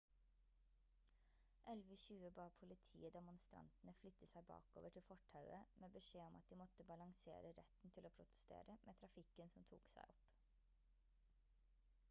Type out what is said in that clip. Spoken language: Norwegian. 11.20 ba politiet demonstrantene flytte seg bakover til fortauet med beskjed om at de måtte balansere retten til å protestere med trafikken som tok seg opp